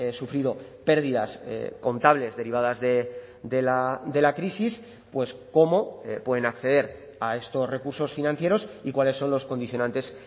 sufrido pérdidas contables derivadas de la crisis pues cómo pueden acceder a estos recursos financieros y cuáles son los condicionantes